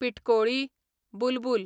पिटकोळी, बुलबूल